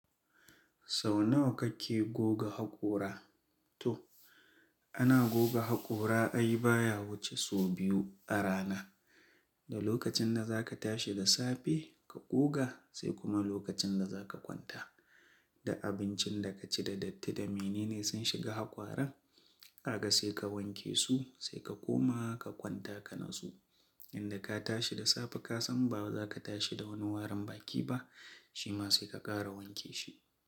Sau nawa kake goga haƙora? To, Ana goga haƙora ai baya wuce sau biyu a rana. Da lokacin da za ka tashi da safe ka goga, sai kuma lokacin da za ka kwanta. Da abincin da ka ci da datti da menene sun shiga haƙoran, ka ga sai ka wanke su, sai ka koma ka kwanta ka natsu. Indai ka tashi da safe ka san ba za ka tashi da wani warin baki ba shi ma sai ka ƙara wanke shi.